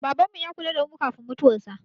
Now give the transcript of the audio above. Babanmu ya kula da mu kafin mutuwarsa.